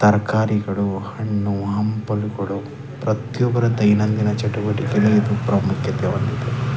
ತರ್ಕಾರಿಗಳು ಹಣ್ಣು ಹಂಪಲುಗಳು ಪ್ರತಿಯೊಬ್ಬರ ದೈನಂದಿನ ಚಟುವಟಿಕೆಗಳ ಪ್ರಾಮುಖ್ಯತೆ.